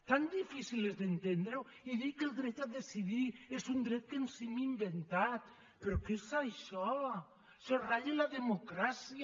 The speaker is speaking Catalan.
tan difícil és d’entendre ho i dir que el dret a decidir és un dret que ens hem inventat però què és això això ratlla la democràcia